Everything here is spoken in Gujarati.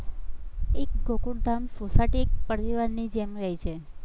એક ગોકુલધામ સોસાયટી એક પરિવારની જેમ રે છે.